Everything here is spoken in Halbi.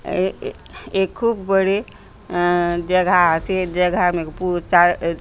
ए ए ए खूब बड़े अअअ जगह आसे जगह मे पूछ तस --